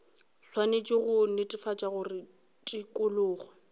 swanetše go netefatša gore tikologo